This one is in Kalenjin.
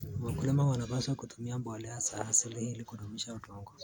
Wakulima wanapaswa kutumia mbolea za asili ili kudumisha udongo.